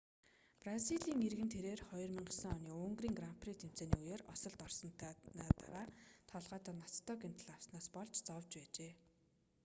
бразилийн иргэн тэрээр 2009 оны унгарын гран при тэмцээний үеэр осолд орсоны дараа толгойдоо ноцтой гэмтэл авснаас болж зовж байжээ